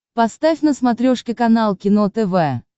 поставь на смотрешке канал кино тв